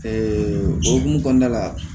o hokumu kɔnɔna la